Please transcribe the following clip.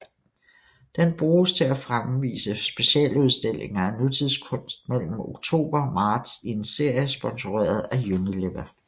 Den bruges til at fremvise specialudstillinger af nutidskunst mellem oktober og marts i en serie sponsoreret af Unilever